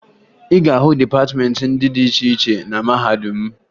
Ị ga-ahụ dịpatịmeentị dị iche iche na mahadum m